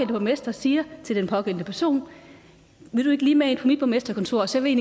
borgmester siger til den pågældende person vil du ikke lige med ind på mit borgmesterkontor og så vil